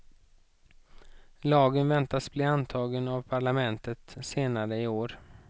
Lagen väntas bli antagen av parlamentet senare i år.